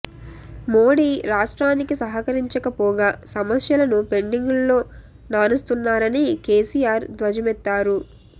మోడీ రాష్ట్రానికి సహకరించకపోగా సమస్యలను పెండింగ్లో నానుస్తున్నారని కేసీ ఆర్ ధ్వజమెత్తారు